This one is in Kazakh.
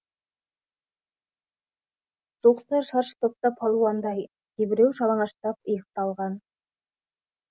жұлқысар шаршы топта палуандай кейбіреу жалаңаштап иықты алған